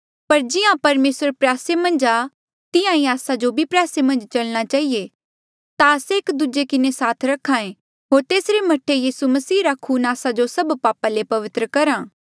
पर जिहां परमेसर प्रयासे मन्झ आ तिहां ईं आस्सा जो भी प्रयासे मन्झ चलणा चहिए ता आस्से एक दूजे किन्हें साथ रख्हा ऐें होर तेसरे मह्ठा यीसू मसीहा रा खून आस्सा जो सभ पापा ले पवित्र करहा